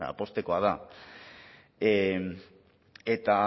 poztekoa da eta